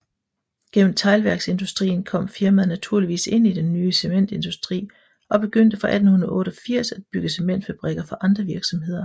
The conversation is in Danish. Gennem teglværksindustrien kom firmaet naturligt ind i den nye cementindustri og begyndte fra 1888 at bygge cementfabrikker for andre virksomheder